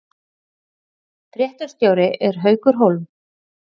Þú stendur þig vel, Kort (mannsnafn)!